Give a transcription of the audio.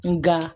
Nga